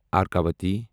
ارکاوٹی